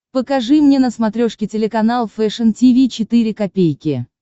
покажи мне на смотрешке телеканал фэшн ти ви четыре ка